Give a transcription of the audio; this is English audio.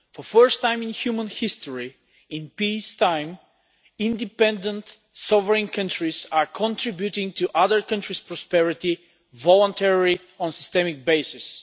For the first time in human history, in peacetime, independent, sovereign countries are contributing to other countries' prosperity voluntarily on a systemic basis.